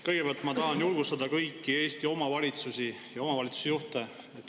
Kõigepealt ma tahan julgustada kõiki Eesti omavalitsusi ja omavalitsusjuhte.